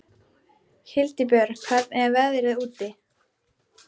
Hildibjörg, hvernig er veðrið úti?